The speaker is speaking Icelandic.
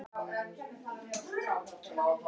Fyrri spurning dagsins: Hvaða lið munu falla?